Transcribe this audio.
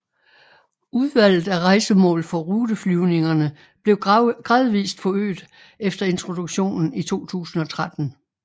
Udvalget af rejsemål for ruteflyvningerne blev gradvist øget efter introduktionen i 2013